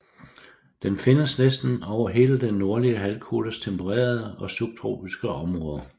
Den findes næsten over hele den nordlige halvkugles tempererede og subtropiske områder